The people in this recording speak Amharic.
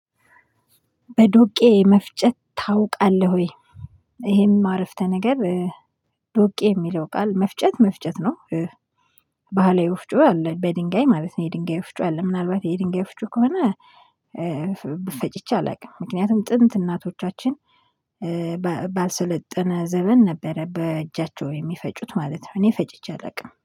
በዶቄ መፍጨት ታውቃለህ ወይ? ይሄም አረፍተ ነገር ዶቄ የሚለው ቃል መፍጨት መፍጨት ነው። ባህላዊ ወፍጮ አለ በድንጋይ ማለት ነው። የድንጋይ ወፍጮ አለ ምናልባት የድንጋይ ወፍጮ ከሆነ። ፈጭቼ አላውቅም ምክንያቱም ጥንት እናቶቻችን ዘበን ነበረ በእጃቸው የሚፈጩት ማለት ነው። እኔ ፈጭቼ አላውቅም